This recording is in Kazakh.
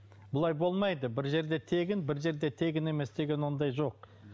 бұлай болмайды бір жерде тегін бір жерде тегін емес деген ондай жоқ